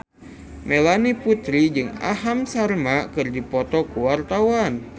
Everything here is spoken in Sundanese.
Melanie Putri jeung Aham Sharma keur dipoto ku wartawan